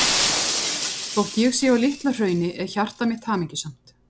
Þótt ég sé á Litla-Hrauni er hjarta mitt hamingjusamt.